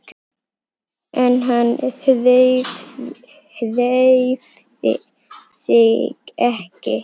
En hann hreyfði sig ekki.